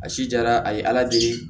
A si jara a ye ala de